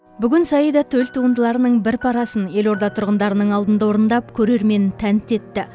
бүгін саида төл туындыларының бір парасын елорда тұрғындарының алдында орындап көрерменін тәнті етті